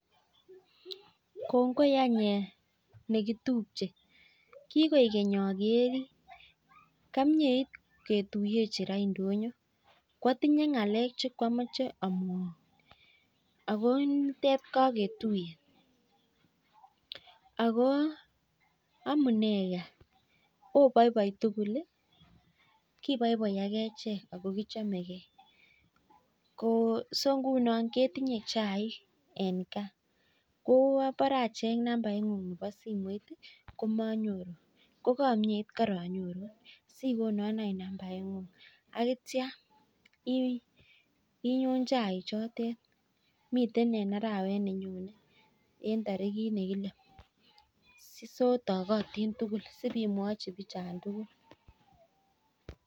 Kongoi any eeh nekitumjee kikoekeny akerin kamnyeit ketuyenjin indonyo kwatinyee ngalek che kwamechee amwaun ako amuner gaa obaibai tugul ii kitingee chaik eng gaa atyaa inyoo chaik chotok eng tarikit nekilee